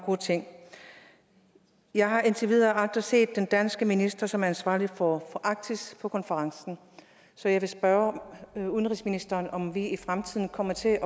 gode ting jeg har indtil videre aldrig set den danske minister som er ansvarlig for arktis på konferencen så jeg vil spørge udenrigsministeren om vi i fremtiden kommer til